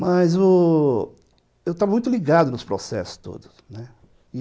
Mas eu estava muito ligado nos processos todos, né.